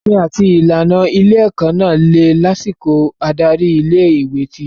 Òfin àti ìlànà ilé-ẹ̀kọ́ náà le lásìkò adarí ilé-ìwé ti tẹ́lẹ̀.